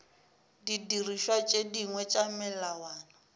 didirišwa tše dingwe tša melawana